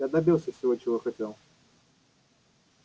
я добился всего чего хотел